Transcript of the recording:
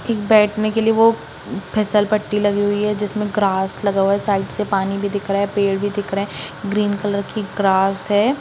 एक बैठना के लिए वो पिसल पट्टी लगी हुई हैं जिसमे ग्रास लगा हुआ है साइड से पानी भी दिख रहा हैं पेड़ भी दिख रहे ग्रीन कलर कि ग्रास है।